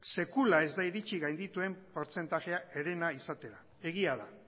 sekula ez da iritsi gaindituen portzentajea herena izatera egia da